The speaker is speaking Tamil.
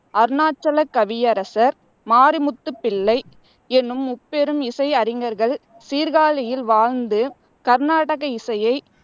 அருணாசலக் கவியரசர், மாரிமுத்துப் பிள்ளை என்னும் முப்பெரும் இசை அறிஞர்கள் சீர்காழியில் வாழ்ந்து கர்நாடக இசையை